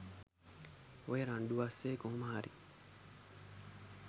ඔය රණ්ඩු අස්සෙ කොහොමහරි